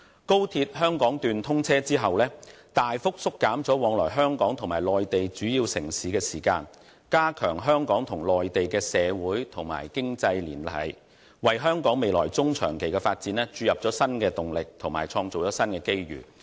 高鐵香港段通車後將大幅縮減往來香港與內地主要城市的時間，加強香港與內地的社會和經濟聯繫，為香港未來中、長期發展注入新動力及創造新機遇。